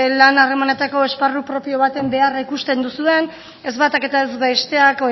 lan harremanetako esparru propio baten beharra ikusten duzuen ez batak eta ez besteak